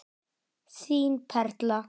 Þín Perla.